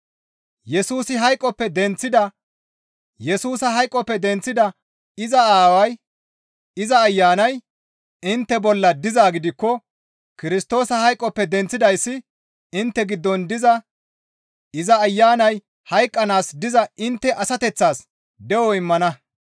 Yesusa hayqoppe denththida iza Ayanay intte bolla dizaa gidikko Kirstoosa hayqoppe denththidayssi intte giddon diza iza ayanay hayqqanaas diza intte asateththas de7o immana.